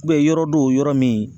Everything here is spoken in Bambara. yɔrɔ dɔw yɔrɔ min